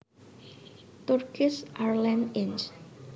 Turkish Airlines Inc